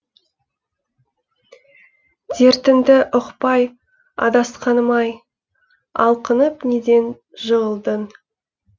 дертіңді ұқпай адасқаным ай алқынып неден жығылдың